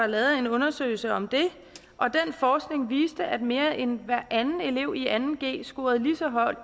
lavede en undersøgelse om det og den forskning viste at mere end hver anden elev i anden g scorede lige så højt